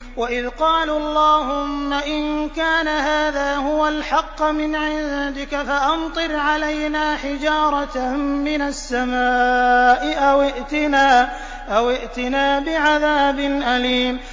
وَإِذْ قَالُوا اللَّهُمَّ إِن كَانَ هَٰذَا هُوَ الْحَقَّ مِنْ عِندِكَ فَأَمْطِرْ عَلَيْنَا حِجَارَةً مِّنَ السَّمَاءِ أَوِ ائْتِنَا بِعَذَابٍ أَلِيمٍ